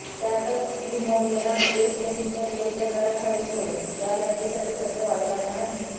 त्यातच झिम्बाब्वेला वेस्ट इंडिजच्या गेलचा तडाखा विसरून या लढतीसाठी सज्ज व्हावे लागणार आहे